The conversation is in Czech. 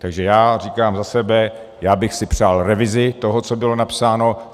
Takže já říkám za sebe, já bych si přál revizi toho, co bylo napsáno.